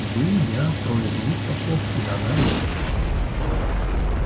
вы я трое других послов и иоганн ли